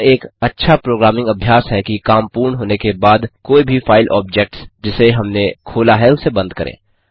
यह एक अच्छा प्रोग्रामिंग अभ्यास है कि काम पूर्ण होने के बाद कोई भी फाइल ऑब्जेक्ट्स जिसे हमने खोला है उसे बंद करें